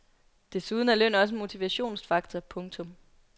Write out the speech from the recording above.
Desuden er løn også en motivationsfaktor. punktum